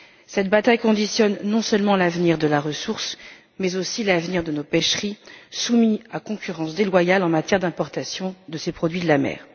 Cette bataille conditionne non seulement l'avenir de la ressource, mais aussi l'avenir de nos pêcheries soumis à une concurrence déloyale en matière d'importation de ces produits de la mer.